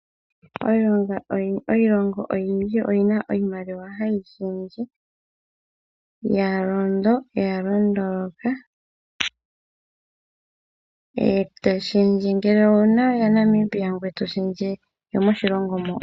Iilongo oyindji oyina iimaliwa hayi shendje ha yi ningi yalondo yalondoloka eto shendje ngele owuna yaNamibia eto shendje yomoshilongo shoka.